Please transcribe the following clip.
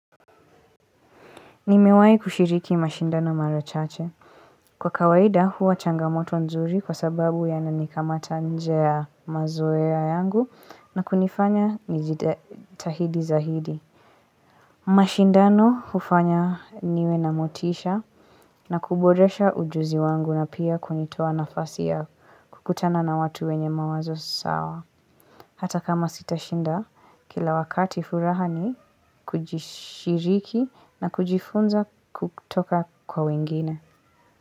Nimewai kushiriki mashindano marachache. Kwa kawaida huwa changamoto nzuri kwa sababu ya nani kamata nje ya mazoea yangu na kunifanya nijitahidi zahidi. Mashindano hufanya niwe namotisha na kuboresha ujuzi wangu na pia kunitoa nafasi ya kukutana na watu wenye mawazo sawa. Hata kama sitashinda, kila wakati furaha ni kujishiriki na kujifunza kutoka kwa wingine.